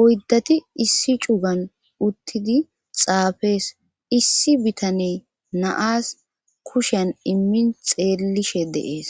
oyddati issi cugan uttidi xaafees issi bitane naas kushan immin xeellishe deees